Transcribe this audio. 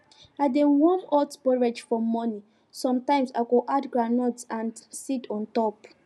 i dey warm hot porridge for morning sometimes i go add groundnut and seeds on top